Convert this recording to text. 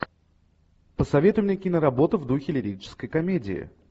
посоветуй мне киноработу в духе лирической комедии